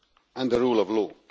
and the rule of law.